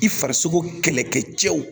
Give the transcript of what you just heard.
I farisogo kɛlɛkɛ cɛw